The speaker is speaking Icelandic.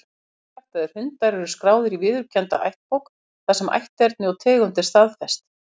Hreinræktaðir hundar eru skráðir í viðurkennda ættbók, þar sem ætterni og tegund er staðfest.